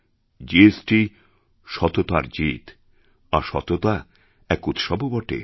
GST সততার জিত আর সততা এক উৎসবও বটে